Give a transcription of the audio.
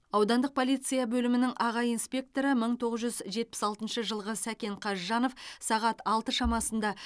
аудандық полиция бөлімінің аға инспекторы мың тоғыз жүз жетпіс алтыншы жылғы сәкен қазжанов сағат алты шамасында